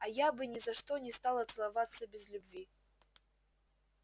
а я бы ни за что не стала целоваться без любви